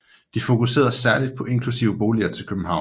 De fokuserede særligt på eksklusive boliger i København